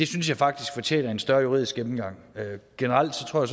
synes jeg faktisk fortjener en større juridisk gennemgang generelt tror